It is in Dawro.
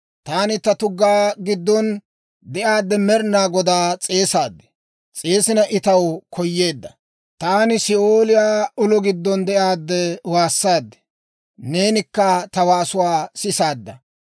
«Taani ta tuggaa giddon de'aadde Med'inaa Godaa s'eesaad; s'eesina I taw koyeedda. Taani Si'ooliyaa ulo giddon de'aadde waassaad; neenikka ta waasuwaa sisaadda.